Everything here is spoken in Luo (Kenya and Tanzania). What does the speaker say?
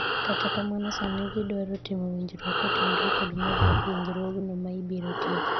kata kamano sani giwaro timo winjruok kotenore kod medo winjruogno ma ibiro tieki